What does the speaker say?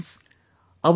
Friends,